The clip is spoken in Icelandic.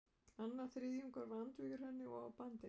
Annar þriðjungur var andvígur henni og á bandi